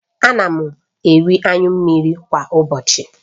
Ana m eri anyụ mmiri kwa ụbọchị